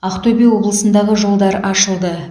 ақтөбе облысындағы жолдар ашылды